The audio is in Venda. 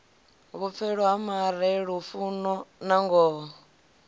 vhupfelo ha mare lufuno nangoho